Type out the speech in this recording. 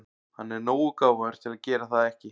Hann er nógu gáfaður til að gera það ekki.